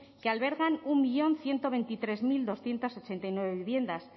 que albergan un millón ciento veintitrés mil doscientos ochenta y nueve viviendas